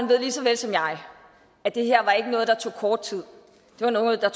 ved lige så vel som jeg at det her noget der tog kort tid det var noget der